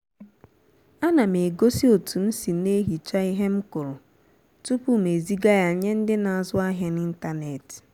á nà m egósí òtú m sì na-ehichá íhe m kụrụ tupu m ezìgá yá nyé ndị́ na-ázụ ahiá n'ịntanetị